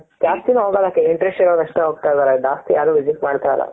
ಜಾಸ್ತಿನೂ ಹೋಗಲ್ಲ ಬರಿ interest ಇರೋರ್ ಅಷ್ಟೆ ಹೋಗ್ತಾ ಇದಾರೆ ಜಾಸ್ತಿ ಯಾರು visit ಮಾಡ್ತಾ ಇಲ್ಲ.